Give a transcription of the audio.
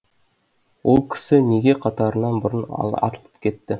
ол кісі неге қатарынан бұрын атылып кетті